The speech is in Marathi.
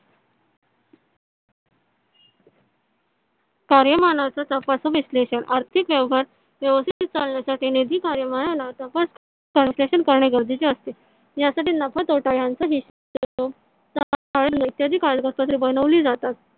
कार्यमानचा तपासू विश्लेषण आर्थिक व्यवहार व्यवस्थित चालण्यासाठी निधी कार्यमानला करणे गरजेचे असते या साठी नफा तोटा यांचा इत्यादि कागदपत्रे बनवली जातात.